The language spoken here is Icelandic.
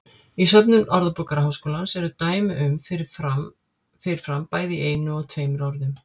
Í söfnum Orðabókar Háskólans eru dæmi um fyrir fram bæði í einu og tveimur orðum.